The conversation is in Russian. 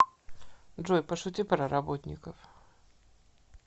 джой пошути про работников